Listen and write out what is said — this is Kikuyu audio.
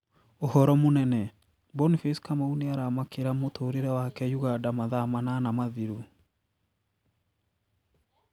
Uhoro munene: Boniface Kamau nĩaramakĩra mũtũrĩre wake Uganda mathaa manana mathiru